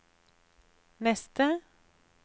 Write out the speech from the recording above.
neste